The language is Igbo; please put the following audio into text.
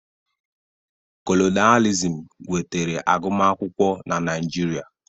Kolonịalizim wetara agụmakwụkwọ na Naịjirịa.